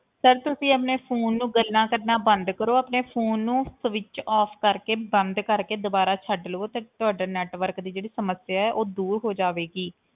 Sir ਤੁਸੀਂ ਆਪਣੇ phone ਨੂੰ ਗੱਲਾਂ ਕਰਨਾ ਬੰਦ ਕਰੋ, ਆਪਣੇ phone ਨੂੰ switch off ਕਰਕੇ ਬੰਦ ਕਰਕੇ ਦੁਬਾਰਾ ਛੱਡ ਲਵੋ ਤੇ ਤੁਹਾਡਾ network ਦੀ ਜਿਹੜੀ ਸਮੱਸਿਆ ਹੈ ਉਹ ਦੂਰ ਹੋ ਜਾਵੇਗੀ।